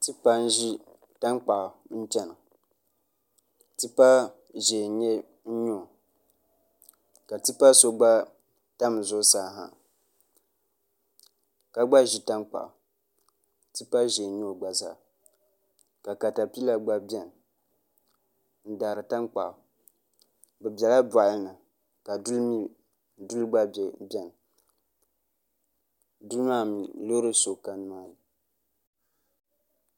Tipa n ʒi tankpaɣu n chɛna tipa ʒiɛ n nyɛ o ka tipa so gba tam zuɣusaa ha ka gba ʒi tankpaɣu tipa ʒiɛ n nyɛ o gba zaa ka katapila gba biɛni n daari tankpaɣu bi biɛla boɣali ni ka duli gba biɛni biɛni duli maa mii loori so ka nimaani